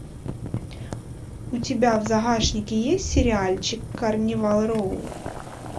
у тебя в загашнике есть сериальчик карнивал роу